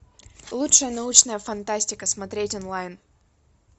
лучшая научная фантастика смотреть онлайн